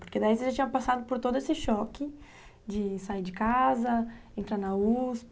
Porque daí você já tinha passado por todo esse choque de sair de casa, entrar na uspi.